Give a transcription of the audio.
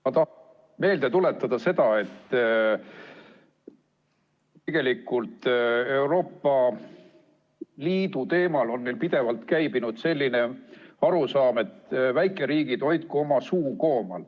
Ma tahan meelde tuletada seda, et tegelikult on Euroopa Liidu teemal pidevalt käibinud selline arusaam, et väikeriigid hoidku oma suu koomal.